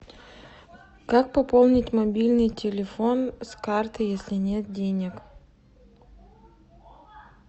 как пополнить мобильный телефон с карты если нет денег